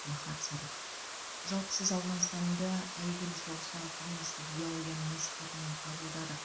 махат садық жалпы сіз ауғанстанды әйгілі соғыстағы коммунистік идеологияның насихатымен қабылдадық